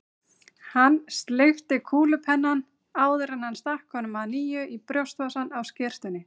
Hann sleikti kúlupennann, áður en hann stakk honum að nýju í brjóstvasann á skyrtunni.